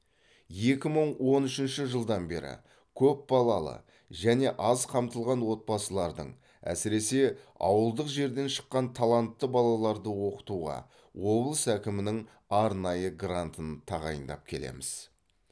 екі мың он үшінші жылдан бері көпбалалы және аз қамтылған отбасылардың әсіресе ауылдық жерден шыққан талантты балаларды оқытуға облыс әкімінің арнайы грантын тағайындап келеміз